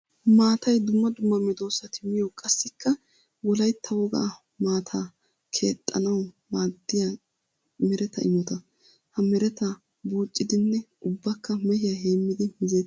Maatay dumma dumma medosatti miyo qassikka wolaytta wogaa maata keexanawu maadiya meretta imotta. Ha meretta bucciddinne ubbakka mehiya heemmiddi mizzeetes.